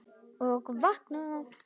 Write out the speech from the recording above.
Og vakna!